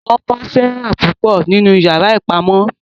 Wọn bọ Sarah púpọ ninu iyàrá ìpamọ.